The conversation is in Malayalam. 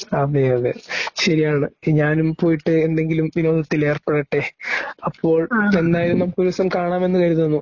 അതേയതേ. ശരിയാണ്. ഞാനും പോയിട്ട് എന്തെങ്കിലും വിനോദത്തിലേർപ്പെടട്ടേ . അപ്പോൾ എന്നായാലും നമുക്കൊരുദിവസം കാണാമെന്നുകരുതുന്നു.